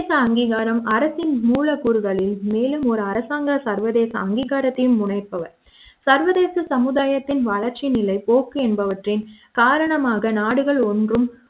சர்வதேச அங்கீகாரம் அரசின் மூலக்கூறுகளில் மேலும் ஒரு அரசாங்க சர்வதேச அங்கீகாரத்தையும் முனைப்பவர் சர்தேச சமுதாயத்தின் வளர்ச்சிநிலை போக்கு என்பவற்றின் காரணமாக நாடுகள் ஒன்றும்